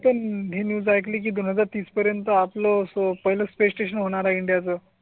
मी पण हि न्यु ऐकली की दोन हजार तीस पर्यंत आपलं पहिलं प्ले स्टेशन होणारा इंडिया चं.